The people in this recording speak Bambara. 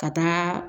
Ka taa